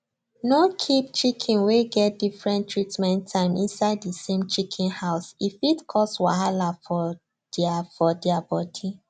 no keep chicken wey get different treatment time inside the same chicken house e fit cause wahala for their for their body